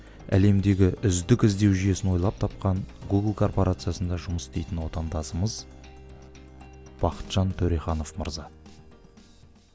әлемдегі үздік іздеу жүйесін ойлап тапқан гугл корпорациясында жұмыс істейтін отандасымыз бақытжан төреханов мырза